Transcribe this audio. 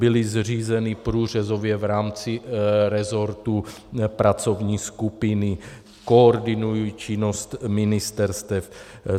Byly zřízeny průřezově v rámci resortu pracovní skupiny, koordinuji činnost ministerstev.